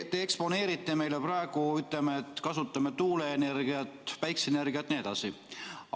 Te eksponeerite meile praegu seda, et kasutame tuuleenergiat, päikeseenergiat jne.